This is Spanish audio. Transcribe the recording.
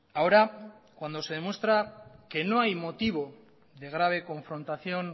ahora cuando se demuestra que no hay motivo de grave confrontación